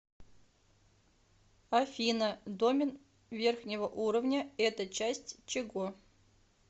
афина домен верхнего уровня это часть чего